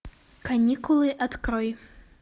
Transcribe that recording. каникулы открой